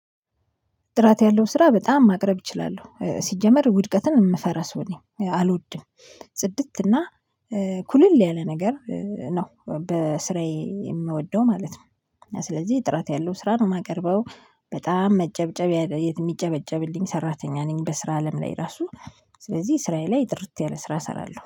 ጥራት ያለው ስራ በጣም ማቅረብ እችላለሁ ሲጀመር ውድቀትን የምፈራ ሰው ነኝ አልወድም። ጽድት እና ኩልል ያለ ነገር ነው በስራዬ የምወደው ማለት ነው። እና ስለዚህ ጥራት ያለው ስራ ነው የማቀርበው። በጣም መጨብጨብ የሚጨበጨብልኝ ሰራተኛ ነኝ በስራ አለም ላይ ራሱ። ስለዚህ ስራዬ ላይ ጥርት ያለ ስራ እሰራለሁ